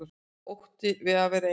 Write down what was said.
Ótti við að vera ein.